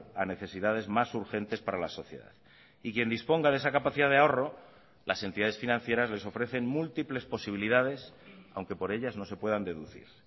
a necesidades más urgentes para la sociedad y quien disponga de esa capacidad de ahorro las entidades financieras les ofrecen múltiples posibilidades aunque por ellas no se puedan deducir